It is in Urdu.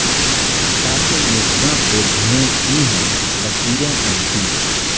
شاخ مژگاں پہ دھویں کی ہیں لکیریں اب بھی